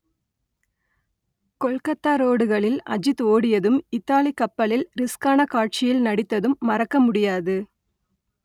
கொல்கத்தா ரோடுகளில் அஜித் ஓடியதும் இத்தாலி கப்பலில் ரிஸ்க்கான காட்சியில் நடித்ததும் மறக்க முடியாது